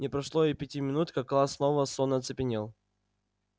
не прошло и пяти минут как класс снова сонно оцепенел